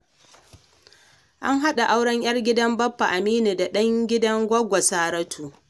An haɗa auren 'yar gidan Baffa Aminu da ɗan gidan goggo Saratu.